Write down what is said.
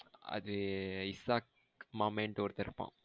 அது இசாக் மமெண்டு ஒருத்தன் இருப்பன்.